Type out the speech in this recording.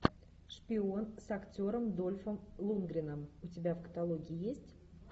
шпион с актером дольфом лундгреном у тебя в каталоге есть